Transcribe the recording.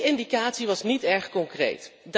En ook die indicatie was niet erg concreet.